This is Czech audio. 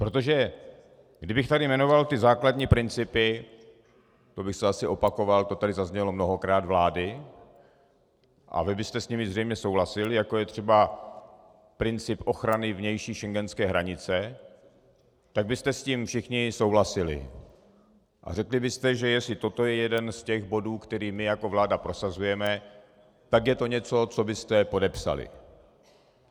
Protože kdybych tady jmenoval ty základní principy, to bych se asi opakoval, to tady zaznělo mnohokrát, vlády a vy byste s nimi zřejmě souhlasili, jako je třeba princip ochrany vnější schengenské hranice, tak byste s tím všichni souhlasili a řekli byste, že jestli toto je jeden z těch bodů, který my jako vláda prosazujeme, tak je to něco, co byste podepsali.